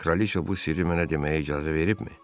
Kraliçə bu sirri mənə deməyə icazə veribmi?